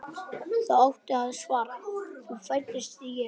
þá átti að svara: þá fæddist Jesús.